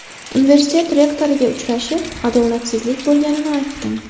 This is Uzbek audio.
Universitet rektoriga uchrashib, adolatsizlik bo‘lganini aytdim.